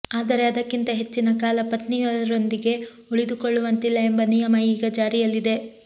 ಆದರೆ ಅದಕ್ಕಿಂತ ಹೆಚ್ಚಿನ ಕಾಲ ಪತ್ನಿಯರೊಂದಿಗೆ ಉಳಿದುಕೊಳ್ಳುವಂತಿಲ್ಲ ಎಂಬ ನಿಯಮ ಈಗ ಜಾರಿಯಲ್ಲಿದೆ